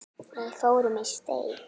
Við fórum í steik.